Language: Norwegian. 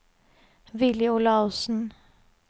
Villy Olaussen